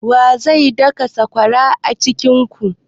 Wa zai daka sakwaran a cikin ku?